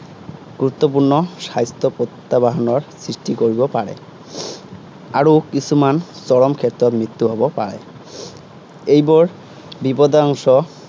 গুৰুত্বপূৰ্ণ স্বাস্থ্য প্ৰত্য়াহ্বানৰ সৃষ্টি কৰিব পাৰে। আৰু কিছুমান চৰম ক্ষেত্ৰত মৃত্যু হব পাৰে। এইবোৰ, বিপদাংশ